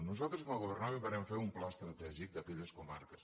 nosaltres quan governàvem vàrem fer un pla estratègic d’aquelles comarques